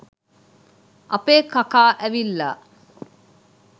අපේ කකා ඇවිල්ලා